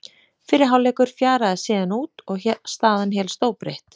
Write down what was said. Fyrri hálfleikur fjaraði síðan út og staðan hélst óbreytt.